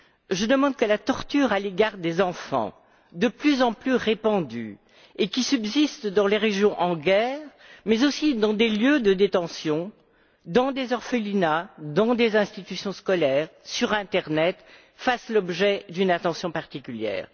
Je demande que la torture à l'égard des enfants, de plus en plus répandue, et qui subsiste dans les régions en guerre mais aussi dans des lieux de détention, dans des orphelinats, dans des institutions scolaires, sur l'internet, fasse l'objet d'une attention particulière.